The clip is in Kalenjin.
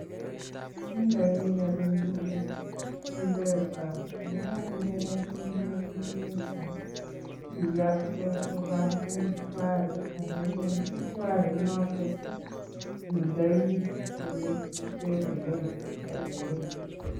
Indoi rabinik kuk mpesa ye kainde mpesa inyatek koba mshwari ako eng mshwari inokok kii indei olee kisavenee rabinik